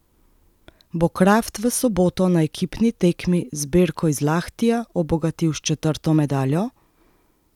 Bo Kraft v soboto na ekipni tekmi zbirko iz Lahtija obogatil s četrto medaljo?